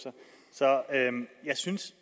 så jeg synes